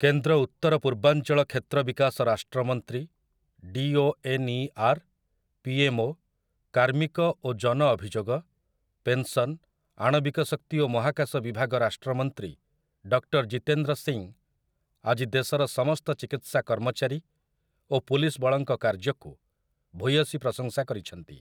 କେନ୍ଦ୍ର ଉତ୍ତର ପୂର୍ବାଞ୍ଚଳ କ୍ଷେତ୍ର ବିକାଶ ରାଷ୍ଟ୍ରମନ୍ତ୍ରୀ, D O N E R, PMO, କାର୍ମିକ ଓ ଜନ ଅଭିଯୋଗ, ପେନ୍ସନ୍, ଆଣବିକ ଶକ୍ତି ଓ ମହାକାଶ ବିଭାଗ ରାଷ୍ଟ୍ରମନ୍ତ୍ରୀ ଡକ୍ଟର୍ ଜିତେନ୍ଦ୍ର ସିଂ ଆଜି ଦେଶର ସମସ୍ତ ଚିକିତ୍ସା କର୍ମଚାରୀ ଓ ପୁଲିସ ବଳଙ୍କ କାର୍ଯ୍ୟକୁ ଭୂୟସୀ ପ୍ରଶଂସା କରିଛନ୍ତି ।